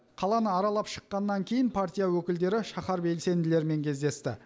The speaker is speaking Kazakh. қаланы аралап шыққаннан кейін партия өкілдері шаһар белсенділерімен кездесті